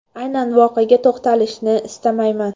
Aynan voqeaga to‘xtalishni istamayman.